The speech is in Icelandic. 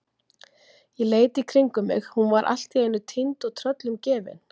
Ég leit í kringum mig, hún var allt í einu týnd og tröllum gefin!